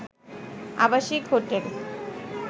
আবাসিক হোটেল